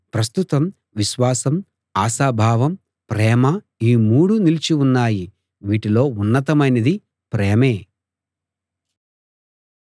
ప్రస్తుతం విశ్వాసం ఆశాభావం ప్రేమ ఈ మూడూ నిలిచి ఉన్నాయి వీటిలో ఉన్నతమైనది ప్రేమే